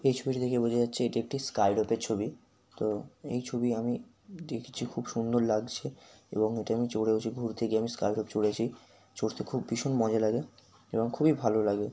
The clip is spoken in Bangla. এই ছবিটি দেখে বোঝা যাচ্ছে এটি একটি স্ক্রাইরোপের ছবি | তো এই ছবি আমি দেখছি খুব সুন্দর লাগছে এবং এটা আমি চড়েওছি | ঘুরতে গিয়ে আমি স্ক্রাইডরোপ চড়তে খুব ভীষণ মজা লাগে এবং খুবই ভালো লাগে।